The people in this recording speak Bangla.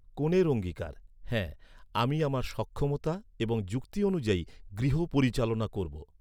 কনের অঙ্গীকারঃ হ্যাঁ, আমি আমার সক্ষমতা এবং যুক্তি অনুযায়ী গৃহ পরিচালনা করবো।